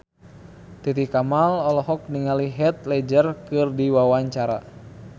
Titi Kamal olohok ningali Heath Ledger keur diwawancara